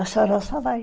A senhora só vai.